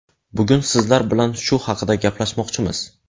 Bugun sizlar bilan shu haqida gaplashmoqchimiz.